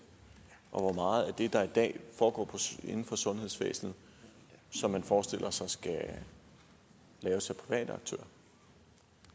og hvor meget af det der er i dag foregår i sundhedsvæsenet som man forestiller sig skal laves